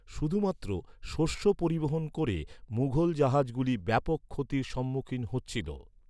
শুধুমাত্র শস্য পরিবহণ করে মুঘল জাহাজগুলি ব্যাপক ক্ষতির সম্মুখীন হচ্ছিল।